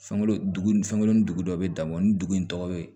Fɛnkolo dugu ni fɛnw ni dugu dɔ bɛ dabɔ ni dugu in tɔgɔ bɛ